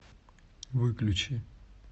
выключи